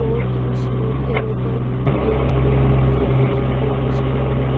और कुछ लोग ऐरोपल्म ऐरोप्लेन मे जाने की कोशिश कर रहे है ।